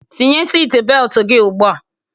Tinye siti beltu gị ugbua!